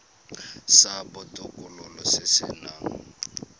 sa botokololo se se nang